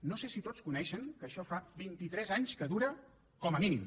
no sé si tots coneixen que això fa vintitres anys que dura com a mínim